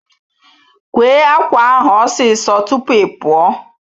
Kwee ákwà ahụ osi so tupu ị pụọ!